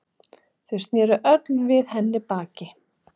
Þau sneru öll við henni baki.